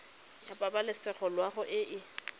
ya pabalesego loago e e